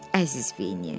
Əziz Vini.